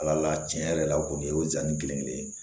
Ala tiɲɛ yɛrɛ la o kɔni o ye zamɛ kelenkelen ye